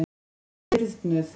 Hún er stirðnuð.